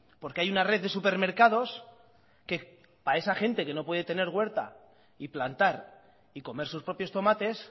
porque hay una red de supermercados que para esa gente que no puede tener huerta y plantar y comer sus propios tomates